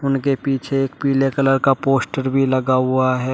उनके पीछे एक पीले कलर का पोस्टर भी लगा हुआ है।